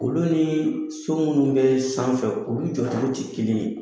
Olu nii so minnu bɛɛ sanfɛ olu jɔ cogo ti kelen ye.